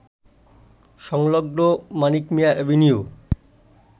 সংলগ্ন মানিক মিয়া এভিনিউ